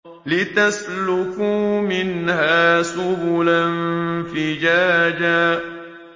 لِّتَسْلُكُوا مِنْهَا سُبُلًا فِجَاجًا